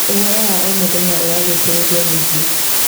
ũhoro wa o mũthenya ũragucĩrĩria mũingĩ.